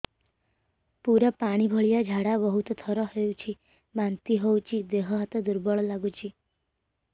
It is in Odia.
ପୁରା ପାଣି ଭଳିଆ ଝାଡା ବହୁତ ଥର ହଉଛି ବାନ୍ତି ହଉଚି ଦେହ ହାତ ଦୁର୍ବଳ ଲାଗୁଚି